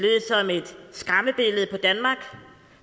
skræmmebillede på danmark